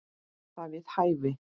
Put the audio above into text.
Var það við hæfi?